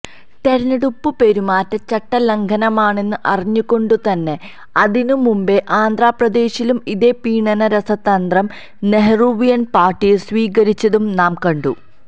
തെരഞ്ഞെടുപ്പുപെരുമാറ്റച്ചട്ട ലംഘനമാണെന്ന് അറിഞ്ഞുകൊണ്ടുതന്നെ അതിനും മുമ്പേ ആന്ധ്രാപ്രദേശിലും ഇതേ പ്രീണന രസതന്ത്രം നെഹ്രൂവിയന് പാര്ട്ടി സ്വീകരിച്ചതും നാം കണ്ടു